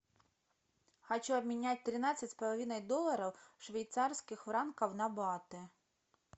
хочу обменять тринадцать с половиной долларов швейцарских франков на баты